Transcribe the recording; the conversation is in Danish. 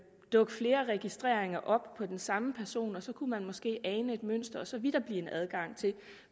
dukke flere registreringer op på den samme person så kunne politiet måske ane et mønster og så ville der blive en adgang til